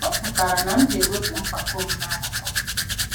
Ọ pụtara na m ga-ewepụ mpako m n'akụkụ.